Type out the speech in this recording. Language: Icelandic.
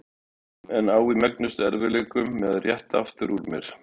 um en á í megnustu erfiðleikum með að rétta aftur úr mér.